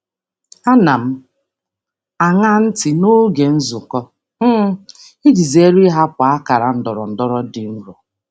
Ana m aṅa ntị n'oge nzukọ iji zere um ịhapụ akara ndọrọndọrọ dị nro.